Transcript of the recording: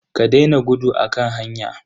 Ka daina gudu a kan hanya.